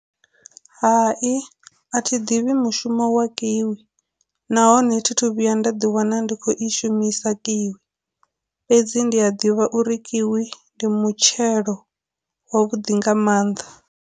Hai, a thi ḓivhi mushumo wa kiwi, nahone thi thu vhuya nda ḓi wana ndi khou i shumisa kiwi, fhedzi ndi a ḓivha uri kiwi ndi mutshelo wa vhuḓi nga mannḓa.